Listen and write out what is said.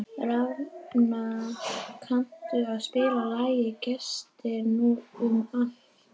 Rafnar, kanntu að spila lagið „Gestir út um allt“?